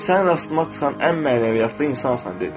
Sən rastıma çıxan ən mənəviyyatlı insansan dedim.